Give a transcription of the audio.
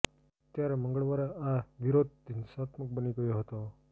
ત્યારે મંગળવારે આ વિરોધ હિંસાત્મક બની ગયો હતો